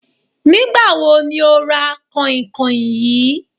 Nígbà wo ni o ra kànhìnkànhìn yìí?